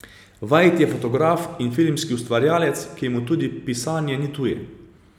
Vajt je fotograf in filmski ustvarjalec, ki mu tudi pisanje ni tuje.